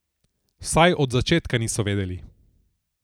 Vsaj od začetka niso vedeli.